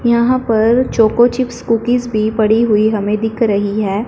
यहां पर choco chips cookies भी पड़ी हुई हमें दिख रही है।